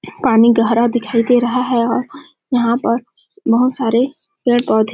पानी गहरा दिखाई दे रहा हैं और यहाँ पर बहुत सारे पेड़-पौधे--